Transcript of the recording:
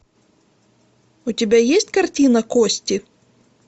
у тебя есть картина кости